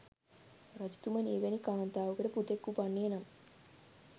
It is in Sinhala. රජතුමනි, එවැනි කාන්තාවකට පුතෙක් උපන්නේ නම්